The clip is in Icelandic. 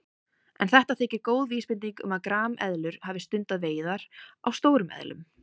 En þetta þykir góð vísbending um að grameðlur hafi stundað veiðar á stórum eðlum.